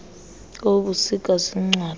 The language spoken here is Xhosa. kobu busika ziincwadi